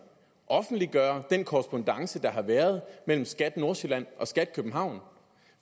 offentliggøre den korrespondance der har været mellem skat nordsjælland og skat københavn for